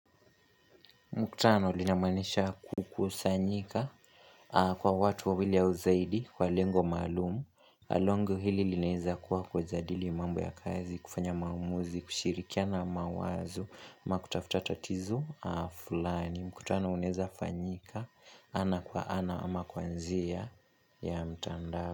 Mkutano linamaanisha kukusanyika kwa watu wawili au zaidi kwa lengo maalumu. Na lengo hili linaweza kuwa kujadili mambo ya kazi, kufanya maamuzi, kushirikiana na mawazo, ama kutafuta tatizo fulani. Mkutano unaweza fanyika ana kwa ana ama kwa njia ya mtandao.